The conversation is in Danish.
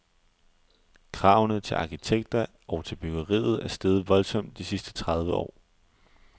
Kravene til arkitekter og til byggeriet er steget voldsomt de sidste tredive år.